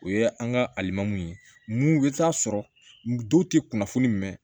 O ye an ka alimamuw ye mun bɛ taa sɔrɔ dɔw tɛ kunnafoni mɛn